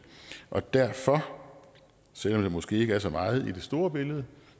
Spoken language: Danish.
og derfor selv om det måske ikke er så meget i det store billede